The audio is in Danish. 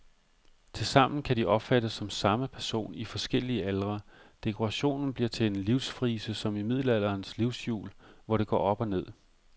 Tilsammen kan de opfattes som samme person i forskellige aldre, dekorationen bliver til en livsfrise som i middelalderens livshjul, hvor det går op og ned.